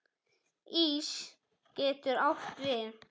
Ís getur átt við